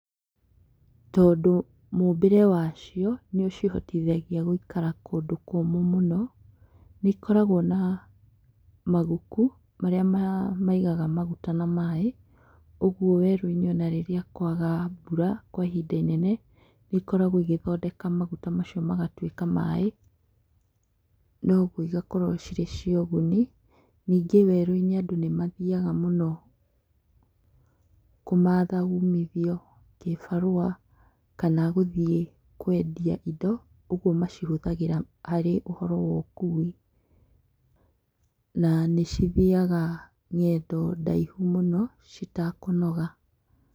Tondũ mũmbĩre wacio nĩ ũcihotithagia gũikara kũndũ kũmũ mũno, nĩ ikoragwo na maguku marĩa maigaga maguta na maĩ ũguo werũinĩ ũnarĩrĩa kwaga mbura kwa ihinda inene nĩ ikoragwo igĩthondeka maguta macio magatuĩka maĩ noguo cigakorwo cirĩ cia ũguni, ningĩ werũ-inĩ andũ nĩ mathiaga mũno kũmatha ũmithio kĩbarũa, kana gũthiĩ kwendia indo, ũguo macihũthagĩra harĩ ũhoro wa ũkũi na nĩcithiaga ng'endo ndaihu mũno citekũnoga.